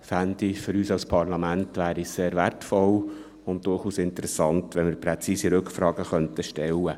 Ich fände es für uns als Parlament sehr wertvoll und durchaus interessant, wenn wir präzise Rückfragen stellen könnten.